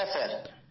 হ্যাঁ স্যার